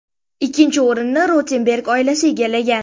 Ikkinchi o‘rinnni Rotenberg oilasi egallagan.